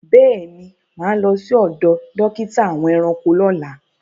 Béèni, máa lọ sí ọdọ̀ dókítà àwọn ẹranko lọ́lá.